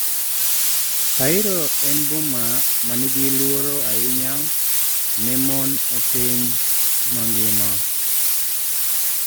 Cairo en boma ma nigi luoro ahinya ne mon e piny mangima